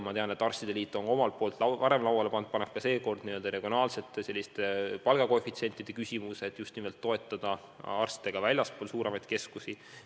Ma tean, et arstide liit on varem lauale pannud ja paneb ka seekord regionaalsete palgakoefitsientide küsimuse, et just nimelt toetada arste ka väljaspool suuremaid keskusi.